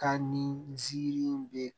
Ka ni nziri in bɛ